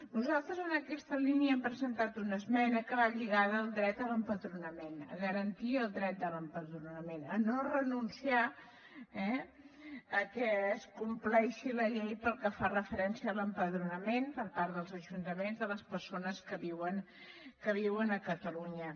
nosaltres en aquesta línia hem presentat una esmena que va lligada al dret a l’empadronament a garantir el dret a l’empadronament a no renunciar que es compleixi la llei pel que fa referència a l’empadronament per part dels ajuntaments de les persones que viuen a catalunya